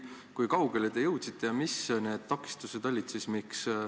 Kui kaugele te jõudsite ja mis need takistused siis olid?